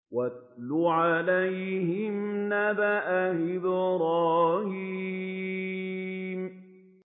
وَاتْلُ عَلَيْهِمْ نَبَأَ إِبْرَاهِيمَ